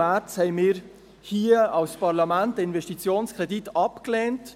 Im März lehnten wir hier als Parlament den Investitionskredit ab.